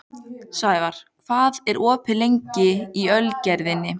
Snævarr, hvað er opið lengi í Ölgerðinni?